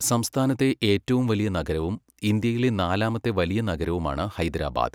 സംസ്ഥാനത്തെ ഏറ്റവും വലിയ നഗരവും ഇന്ത്യയിലെ നാലാമത്തെ വലിയ നഗരവുമാണ് ഹൈദരാബാദ്.